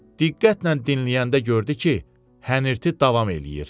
Diqqətlə dinləyəndə gördü ki, hənirti davam eləyir.